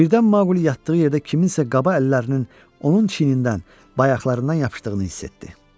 Birdən Maqli yatdığı yerdə kimsə qaba əllərinin onun çiynindən bayaqlarından yapışdığını hiss etdi.